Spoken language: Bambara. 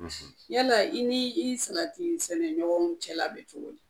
Fosi. Yala i ni i salati sɛnɛɲɔgɔnw cɛ la bɛ cogo di?